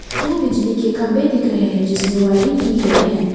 दो बिजली के खंभे दिख रहे हैं जिसमें वायरिंग की गई है।